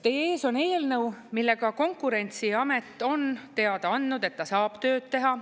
Teie ees on eelnõu, millega Konkurentsiamet on teada andnud, et ta saab tööd teha.